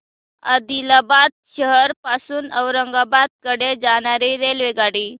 आदिलाबाद शहर पासून औरंगाबाद कडे जाणारी रेल्वेगाडी